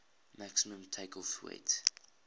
maximum takeoff weight